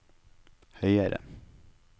høyere